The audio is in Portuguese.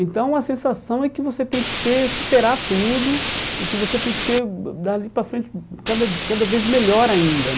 Então a sensação é que você tem que ser superar tudo e que você tem que ser dali para frente cada cada vez melhor ainda.